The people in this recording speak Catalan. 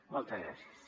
moltes gràcies